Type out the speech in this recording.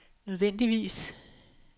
nødvendigvis